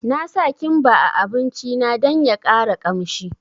Na sa kimba a abinci na dan ya ƙara kamshi